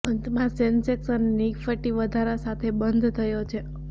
અંતમાં સેન્સેક્સ અને નિફ્ટી વધારા સાથે બંધ થયો છે